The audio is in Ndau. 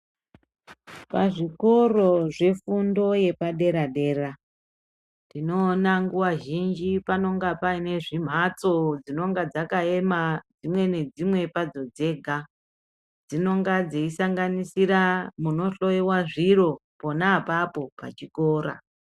Pazvikoro zvefundo yepaderadera, tinowona nguwa zhinji panonga payinezvimhatso dzinonga dzakayema, dzimwe nedzimwe padzo dzega. Dzinonga dzeyisanganisira munohloyiwa zviro pona papo pachikora.